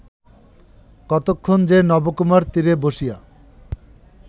কতক্ষণ যে নবকুমার তীরে বসিয়া